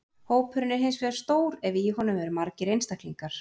Hópurinn er hins vegar stór ef í honum eru margir einstaklingar.